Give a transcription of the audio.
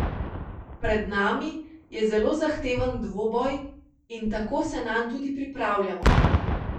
On je bil le posojen prvi obraz.